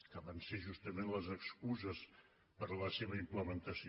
que van ser justament les excuses per a la seva implementació